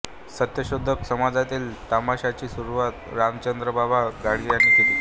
सत्यशोधक समाजातील तमाशाची सुरुवात रामचंद्र बाबा घाडगे यांनी केली